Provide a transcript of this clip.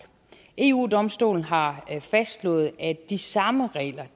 eu domstolen har fastslået at de samme regler